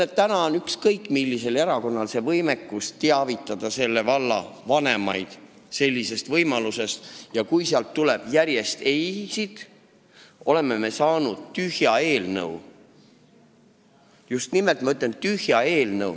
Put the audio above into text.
Ma ütlen, et ükskõik millisel erakonnal on võimekus selle valla vanemaid sellisest võimalusest teavitada, aga kui sealt tuleb järjest ei-sid, siis me oleme saanud tühja eelnõu – just nimelt tühja eelnõu.